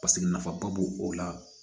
Paseke nafaba b'o o la